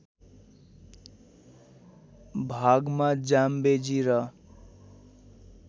भागमा जाम्बेजी र